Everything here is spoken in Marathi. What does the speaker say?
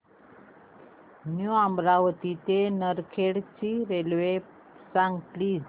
न्यू अमरावती ते नरखेड ची रेल्वे सांग प्लीज